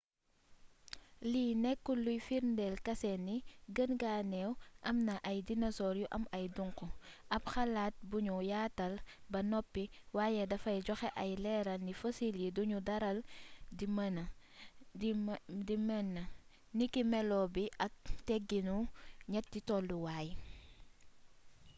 lii nekkul luy firndeel kase ni gën gaa neew am na ay dinosoor yu aw duŋqu ab xalaat buñu yaatal ba noppi waaye dafay joxe ay leeral ni fosil yi dunuy daral di mëna niki melo bi ak teggiinu ñetti tolluwaay